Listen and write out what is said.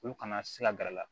Olu kana se ka gɛr'a la